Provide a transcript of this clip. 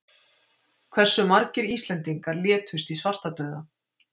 Hversu margir Íslendingar létust í svartadauða?